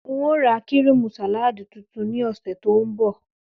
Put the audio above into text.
N óò ra kíríìmù sàláàdì tuntun ní ò̩sè̩ tó ń bò̩